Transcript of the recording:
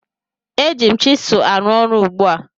Eji m chịsụ arụ ọrụ ugbu a